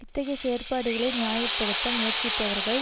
இத்தகைய செயற்பாடுகளை நியாய படுத்த முயற்சிப்பவர்கள்